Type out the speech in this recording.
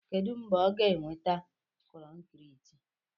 Kedu mgbe ọ ga-eweta kọnkriiti?